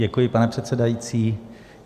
Děkuji, pane předsedající.